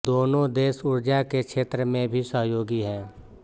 दोनों देश ऊर्जा के क्षेत्र में भी सहयोगी हैं